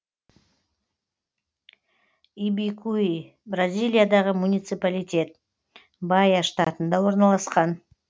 ибикуи бразилиядағы муниципалитет баия штатында орналасқан